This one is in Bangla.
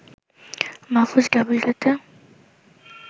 মাহফুজ ডাবলডেতে